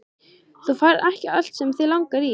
Þú færð ekki allt sem þig langar í!